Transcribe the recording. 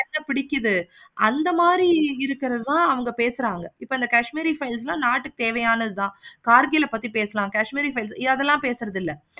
என்ன பிடிக்குது. அந்த மாதிரி இருக்குறத இப்ப பேசுறாங்க. அந்த kashmir files எல்லாம் இப்ப நாட்டுக்கு தேவையானது தான். karkil பத்தி பேசலாம் kashmir பத்தி பேசலாம்